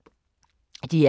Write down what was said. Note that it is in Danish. DR K